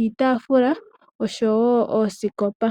iitafula nosho woo oosikopa.